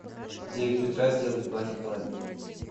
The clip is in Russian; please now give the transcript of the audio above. в девять утра сделай в бане холоднее